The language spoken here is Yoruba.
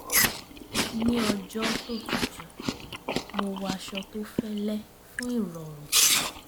ní ọjọ́ tó tútù mo wọ aṣọ tó fẹ́lẹ̀ fún ìrọ̀rùn